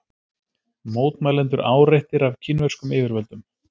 Mótmælendur áreittir af kínverskum yfirvöldum